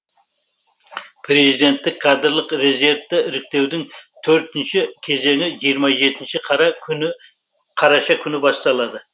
президенттік кадрлық резервті іріктеудің төртінші кезеңі жиырма жетінші қараша күні басталады